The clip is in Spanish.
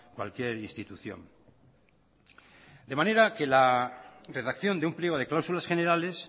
cualquier institución de manera que la redacción de un pliego de cláusulas generales